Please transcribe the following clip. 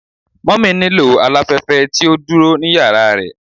Mummy nilo alafẹfẹ ti o duro ni yara rẹ